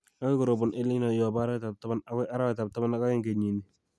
Agoi korobon EL Nino yobo arawetab taman agoi arawetab taman ak oeng kenyini